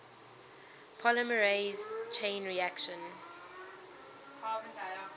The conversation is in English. polymerase chain reaction